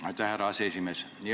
Aitäh, härra aseesimees!